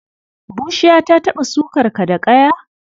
Bushiya ta taɓa sukar ka da ƙaya?